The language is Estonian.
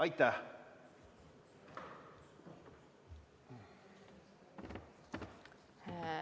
Aitäh!